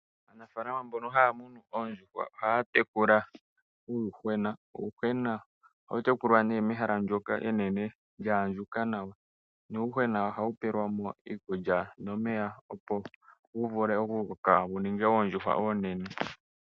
Aanafaalama mboka haya munu oondjuhwa oha ya tekula uuyuhwena. Uuyuhwena ohawu tekulwa nee mehala ndyoka enene lyaandjuka nawa, nuuyuhwena ohawu pelwa mo iikulya nomeya opo wu vule oku koka wu ninge oondjuhwa oonene.